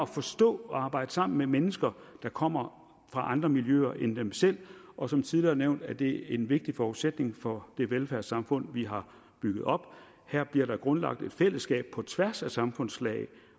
forstå og arbejde sammen med mennesker der kommer fra andre miljøer end dem selv og som tidligere nævnt er det en vigtig forudsætning for det velfærdssamfund vi har bygget op her bliver der grundlagt et fællesskab på tværs af samfundslag